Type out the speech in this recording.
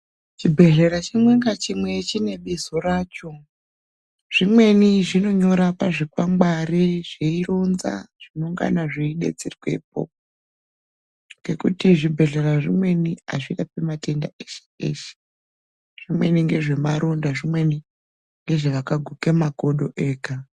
Chibhedhlera chimwe ngachimwe chine bizo racho. Zvimweni zvinonyora pazvikwangwari zveironza zvinongana zveidetserwepo. Ngekuti zvibhedhlera zvimweni azvirapi matenda eshe eshe. Zvimweni ngezvemaronda zvimweni ngezvevakaguke makodo ega.